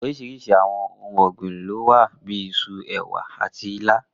Oríṣiríṣi àwọn ohun ọ̀gbìn lówà bíi Isu, ẹ̀wà àti ilá.